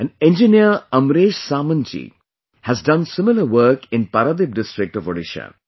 An engineer AmreshSamantji has done similar work in Paradip district of Odisha